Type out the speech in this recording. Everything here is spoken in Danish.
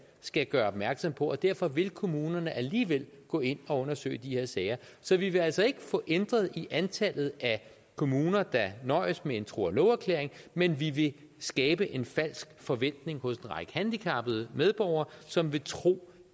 skal gøre opmærksom på og derfor vil kommunerne alligevel gå ind og undersøge de her sager så vi vil altså ikke få ændret i antallet af kommuner der nøjes med en tro og love erklæring men vi vil skabe en falsk forventning hos en række handicappede medborgere som vil tro